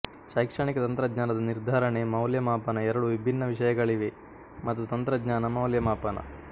ಶೈಕ್ಷಣಿಕ ತಂತ್ರಜ್ಞಾನದ ನಿರ್ಧಾರಣೆ ಮೌಲ್ಯಮಾಪನ ಎರಡು ವಿಭಿನ್ನ ವಿಷಯಗಳಿವೆ ಮತ್ತು ತಂತ್ರಜ್ಞಾನ ಮೌಲ್ಯಮಾಪನ